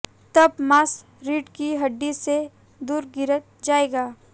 तब मांस रीढ़ की हड्डी से दूर गिर जाएगा